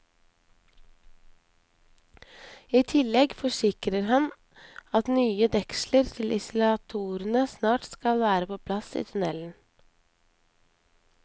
I tillegg forsikrer han at nye deksler til isolatorene snart skal være på plass i tunnelen.